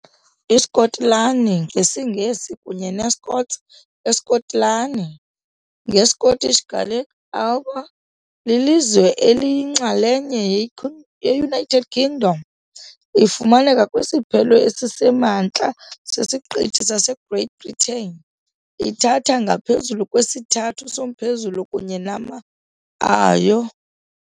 ISkotlani ngesiNgesi kunye neScots, eSkotlani, ngesiScottish Gaelic, Alba, lilizwe eliyinxalenye yeUnited Kingdom. Ifumaneka kwisiphelo esisemantla sesiqithi saseGreat Britain, ithatha ngaphezulu kwesithathu somphezulu kunye nama ayo.